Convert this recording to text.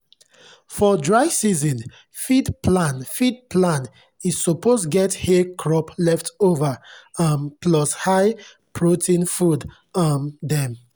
for dry season feed plan feed plan e suppose get hay crop leftover um plus high-protein food um dem.